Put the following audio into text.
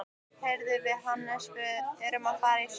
Heyrðu, við Hannes erum að fara í sund.